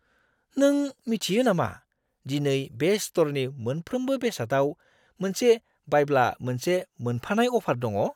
नों मिथियो नामा दिनै बे स्ट'रनि मोनफ्रोमबो बेसादाव मोनसे बायब्ला मोनसे मोनफानाय अफार दङ'?